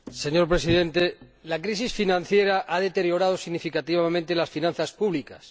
Señor Presidente, la crisis financiera ha deteriorado significativamente las finanzas públicas.